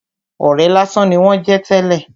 Ọ̀rẹ́ lásán ni wón jẹ́ tẹ́lè.